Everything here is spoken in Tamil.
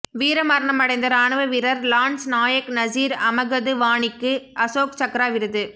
வீரமரணமடைந்த ராணுவ வீரர் லான்ஸ் நாயக் நசீர் அமகது வாணிக்கு அசோக் சக்ரா விருது